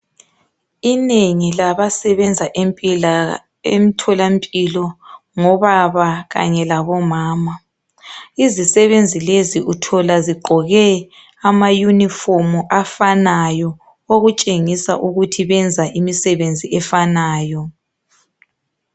Inengi labasebenza emthola mpilo ngobaba kanye labomama izisebenzi lezi uthola zigqoke ama uniform afanayo okutshengisa ukuthi benza imisebenzi efanayo